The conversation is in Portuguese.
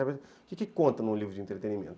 O que conta num livro de entretenimento?